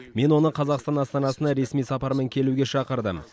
мен оны қазақстан астанасына ресми сапармен келуге шақырдым